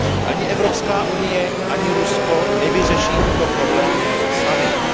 Ani Evropská unie, ani Rusko nevyřeší tyto problémy samostatně.